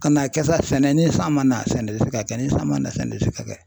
Ka n'a kɛ sa sɛnɛ ni san ma na sɛnɛ ti se ka kɛ ni san ma na sɛnɛ ti se ka kɛ.